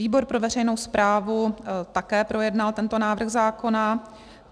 Výbor pro veřejnou správu také projednal tento návrh zákona.